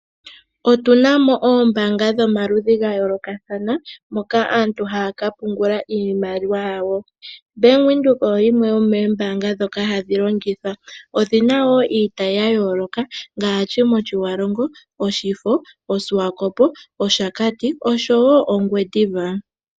Otuna mo oombaanga dhomaludhi gayoolokathana, mpoka aantu haya pungula iimaliwa yawo. Bank Windhoek oyo yimwe yomoombaanga ndhoka hadhi longithwa. Oyi na wo iitayi ya yooloka ngaashi mOshiwarongo, Oshifo, Osikwakopo, Oshakati, osho wo Ongwediva.